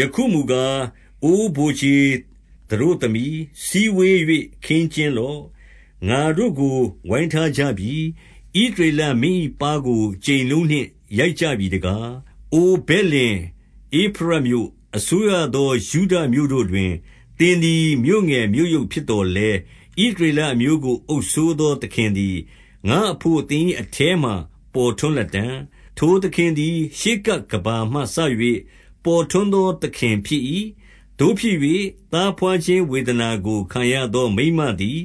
ယခုမူကား၊ အိုဗိုလ်ခြေသတို့သမီ၊ စည်းဝေး၍ ခင်းကျင်းလော့။ ငါတို့ကို ဝိုင်းထားကြပြီ။ ဣသရေလ မင်း၏ပါးကို ကြိမ်လုံးနှင့် ရိုက်ကြပြီတကား။ 2 အိုဗက်လင်ဧဖရတ်မြို့၊ အစိုးရသော ယုဒမြို့တို့ တွင် သင်သည် မြို့ငယ်မြို့ယုတ်ဖြစ်သော်လည်း၊ ဣသရေ လအမျိုးကို အုပ်စိုးရသော သခင်သည် ငါ့အဘို့ သင်၏ အထဲမှာ ပေါ်ထွန်းလတံ့။ ထိုသခင်သည် ရှေးကပ်ကမ္ဘာ မှစ၍ ပေါ်ထွန်းသော သခင်ဖြစ်၏။ 3 သို့ဖြစ်၍၊ သားဘွားခြင်းဝေဒနာကို ခံရသော မိန်းမသည်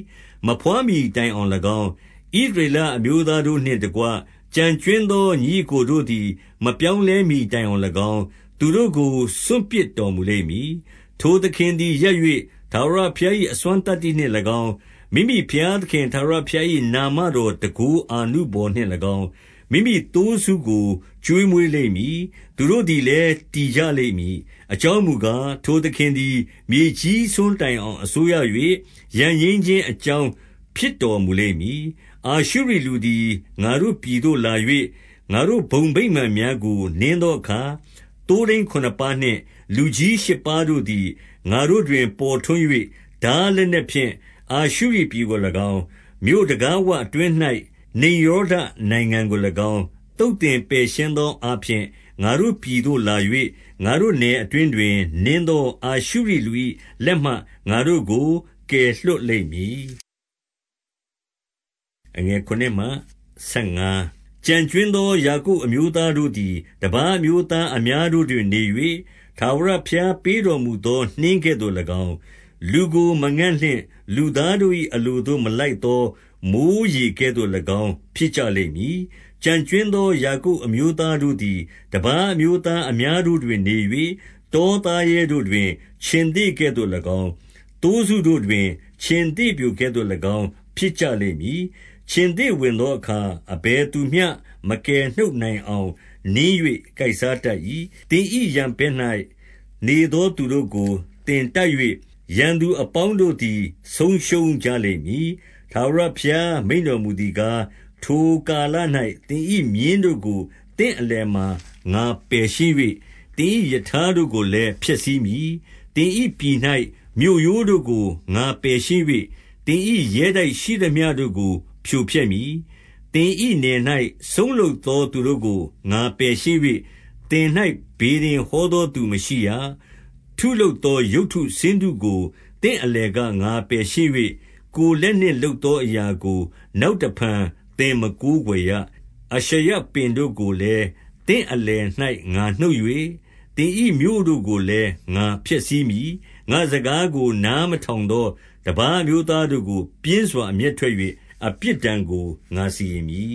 မဘွားမှီတိုင်အောင်၎င်း၊ ဣသရေလအမျိုး သားတို့နှင့်တကွ ကျန်ကြွင်းသော ညီအစ်ကိုတို့သည် မပြောင်းလဲမှီတိုင်အောင်၎င်း၊ သူတို့ကို စွန့်ပစ်တော်မူ လိမ့်မည်။ 4 ထိုသခင်သည် ရပ်၍ ထာဝရဘုရား၏အစွမ်း သတ္တိနှင့်၎င်း၊ မိမိဘုရားသခင် ထာဝရဘုရား၏နာမ တော်တန်ခိုးအာနုဘော်နှင့်၎င်း၊ မိမိသိုးစုကို ကျွေးမွေး လိမ့်မည်။ သူတို့သည်လည်း တည်ကြလိမ့်မည်။ အကြောင်းမူကား၊ ထိုသခင်သည် မြေကြီးစွန်းတိုင်အောင် အစိုးရ၍၊ ရန်ငြိမ်းခြင်းအကြောင်းဖြစ်တော်မူလိမ့်မည်။ 5 အာရှုရိလူသည် ငါတို့ပြည်သို့လာ၍၊ ငါတို့ ဘုံ ဗိမာန်များကို နင်းသောအခါ၊ သိုးထိန်းခုနစ်ပါးနှင့် လူကြီး ရှစ်ပါးတို့သည် ငါတို့တွင် ပေါ်ထွန်း၍၊ 6 ထားလက်နက်ဖြင့် အာရှုရိပြည်ကို၎င်း၊ မြို့ တံခါးဝအတွင်း၌ နိမ်ရောဓနိုင်ငံကို၎င်း သုတ်သင်ပယ် ရှင်းသောအားဖြင့်၊ ငါတို့ပြည်သို့ လာ၍၊ ငါတို့နယ်အတွင်း တွင် နင်းသော အာရှုရိလူ၏လက်မှ ငါတို့ကို ကယ်လွှတ် လိမ့်မည်။ 7 ကျန်ကြွင်းသော ယာကုပ်အမျိုးသားတို့သည် တပါးအမျိုးသား အများတို့တွင် နေ၍၊ ထာဝရဘုရား ပေးတော်မူသောနှင်းကဲ့သို့၎င်း၊ လူကို မငံ့လင့်၊ လူသားတို့ ၏ အလိုသို့မလိုက်သော မိုဃ်းရေကဲ့သို့၎င်း ဖြစ်ကြလိမ့် မည်။ 8 ကျန်ကြွင်းသော ယာကုပ်အမျိုးသားတို့သည် တပါးအမျိုးသားအများတို့တွင် နေ၍၊ တောသားရဲတို့တွင် ခြင်္သေ့ကဲ့သို့၎င်း၊ သိုးစုတို့တွင် ခြင်္သေ့ပျိုကဲ့သို့၎င်း ဖြစ်ကြ လိမ့်မည်။ ခြင်္သေ့ဝင်သောအခါ အဘယ်သူမျှ မကယ်နှုတ် နိုင်အောင် နင်း၍ ကိုက်စားတတ်၏။ 9 သင်၏ရန်ဘက်၌ နေသောသူတို့ကို သင်တိုက် ၍၊ ရန်သူအပေါင်းတို့သည် ဆုံးရှုံးကြလိမ့်မည်။ 10 ထာဝရဘုရားမိန့်တော်မူသည်ကား၊ ထိုကာလ၌ သင်၏မြင်းတို့ကို သင့်အလယ်က ငါပယ်ရှင်း၍၊ သင်၏ ရထားတို့ကိုလည်း ဖျက်ဆီးမည်။ 11 သင်၏ပြည်၌ မြို့ရိုးတို့ကို ငါပယ်ရှင်း၍၊ သင်၏ ရဲတိုက်ရှိသမျှတို့ကို ဖြိုဖျက်မည်။ 12 သင်၏နယ်၌ စုန်းလုပ်သောသူတို့ကို ငါပယ်ရှင်း ၍၊ သင်၌ ဗေဒင်ဟောသောသူမရှိရ။ 13 ထုလုပ်သော ရုပ်တုဆင်းတုတို့ကို သင့်အလယ် က ငါပယ်ရှင်း၍ ၊ ကိုယ်လက်နှင့်လုပ်သော အရာကို နောက်တဖန်သင်မကိုးကွယ်ရ။ 14 အာရှရပင်တို့ကိုလည်း သင့်အလယ်၌ ငါနှုတ်၍၊ သင်၏မြို့တို့ကိုလည်း ငါဖျက်ဆီးမည်။ 15 ငါ့စကားကို နားမထောင်သော တပါးအမျိုး သားတို့ကို ပြင်းစွာ အမျက်ထွက်၍ အပြစ်ဒဏ်ကို ငါစီရင် မည်